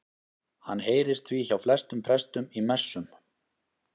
Hann heyrist því hjá flestum prestum í messum.